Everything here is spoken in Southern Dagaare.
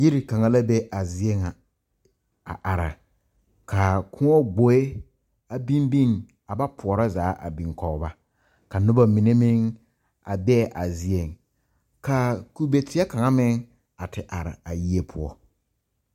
Yire kanga la be a zie ŋa. A are ka a koɔ gboe a biŋ biŋ. A ba poɔro zaa a biŋ kɔ ba. Ka noba mene meŋ a be a zie. Ka kube teɛ kanga meŋ a te are a yie poʊ.